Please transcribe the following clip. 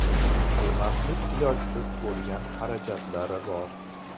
Qilmaslik ilojsiz bo‘lgan xarajatlari bor.